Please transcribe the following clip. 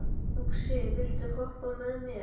Uxi, viltu hoppa með mér?